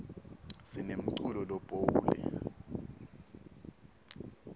sinemculo lophoule